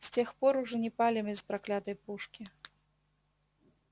с тех пор уж и не палим из проклятой пушки